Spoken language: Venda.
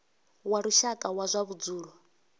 wa lushaka wa zwa vhudzulo